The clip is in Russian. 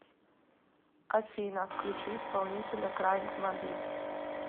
афина включи исполнителя крайг маббит